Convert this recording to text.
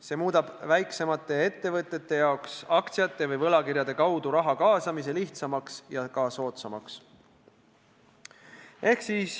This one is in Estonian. See muudab väiksemate ettevõtete jaoks aktsiate või võlakirjade kaudu raha kaasamise lihtsamaks ja ka soodsamaks.